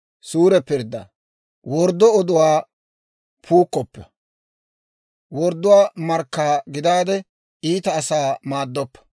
«Worddo oduwaa puukkoppa; wordduwaa markka gidaade, iita asaa maaddoppa.